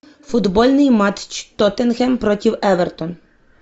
футбольный матч тоттенхэм против эвертон